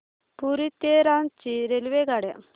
पुरी ते रांची रेल्वेगाड्या